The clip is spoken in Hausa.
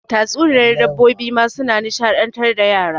Tatsuniyar dabbobi ma suna nishaɗantar da yara.